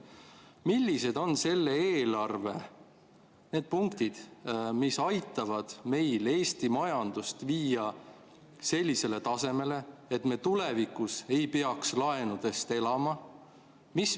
Millised on selle eelarve need punktid, mis aitavad meil viia Eesti majandust sellisele tasemele, et me tulevikus ei peaks laenudest elama?